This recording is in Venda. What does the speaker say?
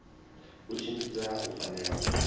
u tshimbidza u fanela u